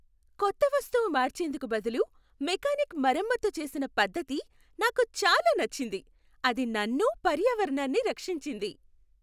కొత్త వస్తువు మార్చేందుకు బదులు మెకానిక్ మరమ్మతు చేసిన పద్ధతి నాకు చాలా నచ్చింది. అది నన్ను, పర్యావరణాన్ని రక్షించింది.